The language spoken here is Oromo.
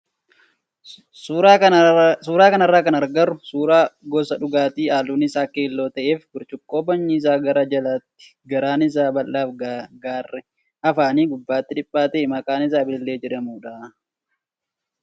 Suuraa kanarraa kan agarru suuraa gosa dhugaatii halluun isaa keelloo ta'ee fi burcuqqoo bocni isaa gara jalaatti garaan isaa bal'aa fi garri afaanii gubbaatti dhiphaa ta'e maqaan isaa bilillee jedhamudha,